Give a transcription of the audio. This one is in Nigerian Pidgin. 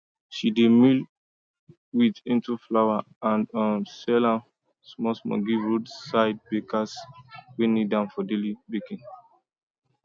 she dey mill wheat into flour and um sell am smallsmall give roadside bakers wey need am for daily baking